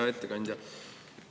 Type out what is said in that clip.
Hea ettekandja!